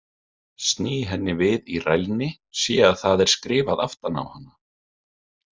Sný henni við í rælni, sé að það er skrifað aftan á hana.